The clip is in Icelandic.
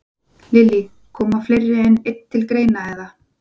Lillý: Koma fleiri en einn til greina, eða?